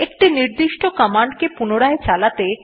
একটি নির্দিষ্ট কমান্ডকে পুনরায় চালাতে